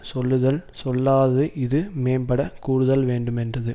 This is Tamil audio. சொல்லுதல் சொல்லாது இது மேம்படக் கூறுதல்வேண்டு மென்றது